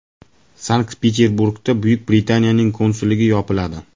Sankt-Peterburgda Buyuk Britaniyaning konsulligi yopiladi.